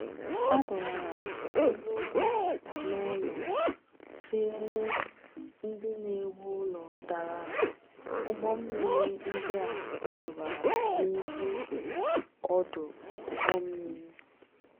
A dọwara elu ụlọ n’ụlọ, kreenu ndị na-ewu ụlọ dara, ụgbọ mmiri ndị a tụbara n’elu ọdụ ụgbọ mmiri.